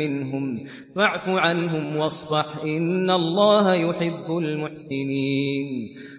مِّنْهُمْ ۖ فَاعْفُ عَنْهُمْ وَاصْفَحْ ۚ إِنَّ اللَّهَ يُحِبُّ الْمُحْسِنِينَ